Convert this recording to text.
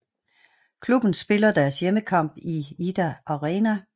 Klubben spiller deres hjemmekamp i Idda Arena